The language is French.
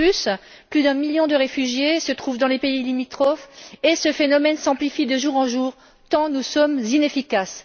De plus, plus d'un million de réfugiés se trouvent dans les pays limitrophes et ce phénomène s'amplifie de jour en jour, tant nous sommes inefficaces.